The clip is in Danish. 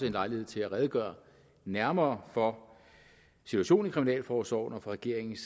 en lejlighed til at redegøre nærmere for situationen i kriminalforsorgen og for regeringens